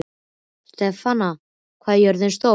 Stefana, hvað er jörðin stór?